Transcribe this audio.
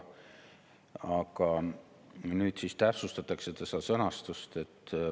Nüüd täpsustatakse seda sõnastust.